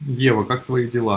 ева как твои дела